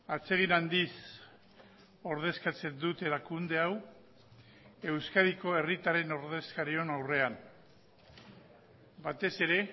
atsegin handiz ordezkatzen dut erakunde hau euskadiko herritarren ordezkarion aurrean batez ere